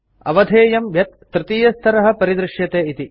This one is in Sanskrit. अवधेयं यत् तृतीयस्तरः परिदृश्यते इति